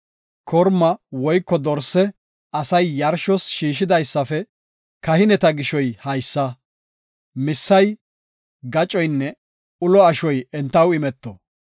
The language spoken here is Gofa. Korma woyko dorse asay yarshos shiishidaysafe kahineta gishoy haysa; missay, gacoynne ulo ashoy entaw imeto.